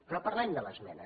però parlem de l’esmena